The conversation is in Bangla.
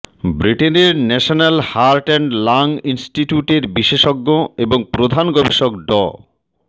ব্রিটেনের ন্যাশনাল হার্ট অ্যান্ড লাং ইনস্টিটিউটের বিশেষজ্ঞ এবং প্রধান গবেষক ড